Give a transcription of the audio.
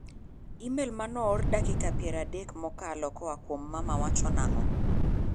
Imel mane oor dakika piero adek mokalo koa kuom mama wacho nang'o?